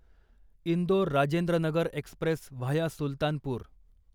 Indore Rajendranagar express via Sultanpur